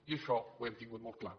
i això ho hem tingut molt clar